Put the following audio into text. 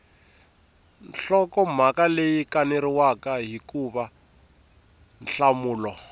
nhlokomhaka leyi kaneriwaka hikuva nhlamulo